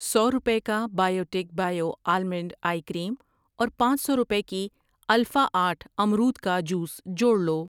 سو روپے کا biotech bio almond ice cream اور پانچ سو روپے کی الفا آٹھ امرود کا جوس جوڑ لو۔